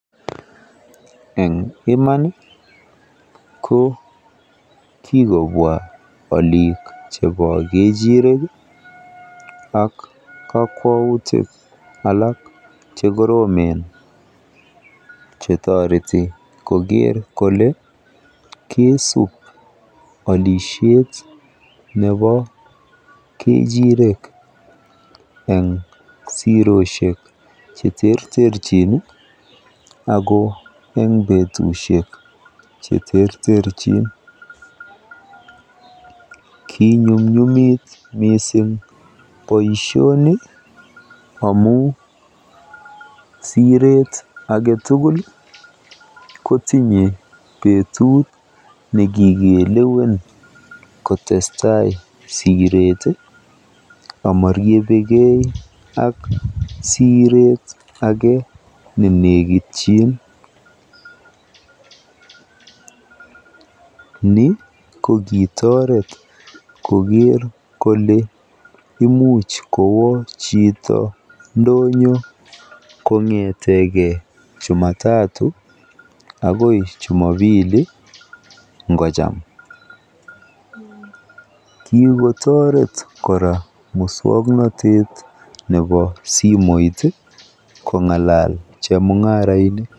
Eng iman ko kikobwa alik chebo kechirek ii ak kokwoutik alak chekoromen chetoreti koker kole kesub alisiet nebo kechirek en zerosiek cheterterchin akoo eng betusiek cheterterchin kinyumnyumit missing boisioni amun siret agetugul ii kotinye betut nekikelewen kotestai siret ii amoriebeke ak siret age nenekityin, ni kokitoret koker kole imuch kowo chito ndonyon kongeteke jumatatu akoi jumapili ingojam kikotoret kora moswoknotet ne bo simoit kong'alal chemung'arainik.